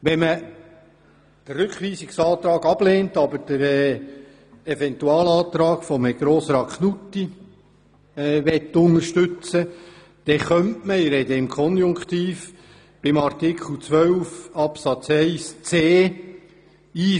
Wenn man den Rückweisungsantrag ablehnt, aber den Eventualantrag von Herrn Grossrat Knutti unterstützen möchte, könnte man – ich spreche im Konjunktiv – in Artikel 12 Absatz 1 Buchstabe c